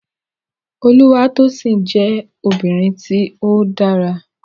Olúwatósìn jẹ́ ọmọbìnrin tí ó dára